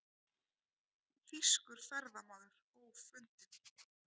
Þýskur ferðamaður ófundinn